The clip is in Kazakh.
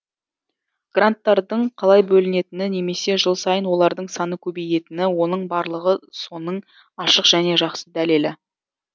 гранттардың қалай бөлінетіні немесе жыл сайын олардың саны көбейетіні оның барлығы соның ашық және жақсы дәлелі